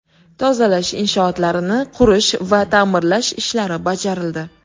Tozalash inshootlarini qurish va ta’mirlash ishlari bajarildi.